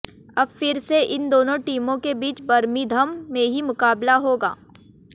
अब फिर से इन दोनों टीमों के बीच बर्मिंघम में ही मुकाबला होगा